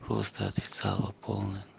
просто отрицала полная